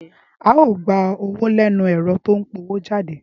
Á o gba owó lẹ́nu ẹ̀rọ tó ń pọwójáde